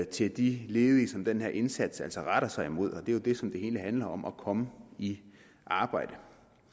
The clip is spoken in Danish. til de ledige som den her indsats altså retter sig imod og det er jo det som det hele handler om nemlig at komme i arbejde